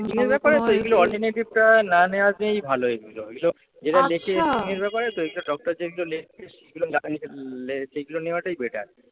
Skin এর ব্যাপারে তো এগুলোর alternative টা না নেওয়াটাই ভালো এগুলো। এগুলো এরা লিখে স্কিন এর ব্যাপারে তো ডক্টর যেগুলো লেখে সেইগুলো নেওয়াটাই better